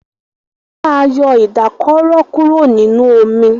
Wón má yọ Ìdákọrò kúrò nínú omí.